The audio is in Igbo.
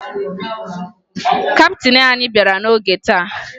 Kaptịn anyị bịara n'oge taa